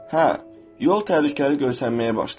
Hə, yol təhlükəli görsənməyə başlayacaq.